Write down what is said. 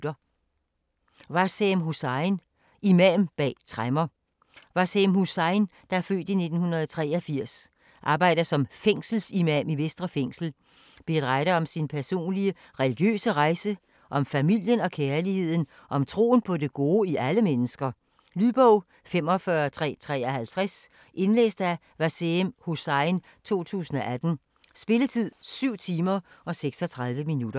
Hussain, Waseem: Imam bag tremmer Waseem Hussain (f. 1983), der arbejder som fængselsimam i Vestre Fængsel, beretter om sin personlige religiøse rejse, om familien, om kærligheden og om troen på det gode i alle mennesker. Lydbog 45353 Indlæst af Waseem Hussain, 2018. Spilletid: 7 timer, 36 minutter.